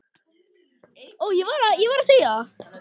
Dynja, lækkaðu í græjunum.